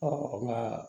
nka